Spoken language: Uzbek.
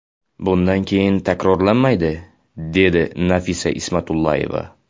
Bundan keyin takrorlanmaydi”, dedi Nafisa Ismatullayeva.